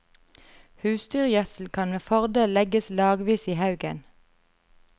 Husdyrgjødsel kan med fordel legges lagvis i haugen.